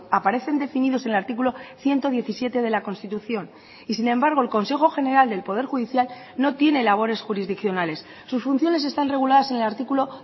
aparecen definidos en el artículo ciento diecisiete de la constitución y sin embargo el consejo general del poder judicial no tiene labores jurisdiccionales sus funciones están reguladas en el artículo